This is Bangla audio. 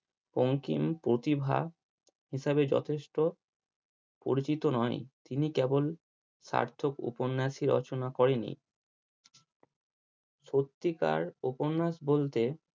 বঙ্কিম প্রতিভা হিসাবে যথেষ্ট পরিচিত নয় তিনি কেবল সার্থক উপন্যাসই রচনা করেনি সত্যিকার উপন্যাস বলতে